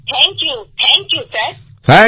thank you thank you sir